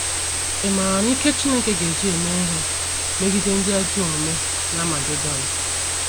Ị̀ maara ike Chineke ga - eji eme ihe megide ndị ajọ omume n’Amagedọn?